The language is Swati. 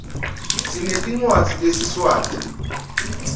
sinetncwadzi tesiswati